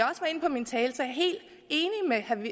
min tale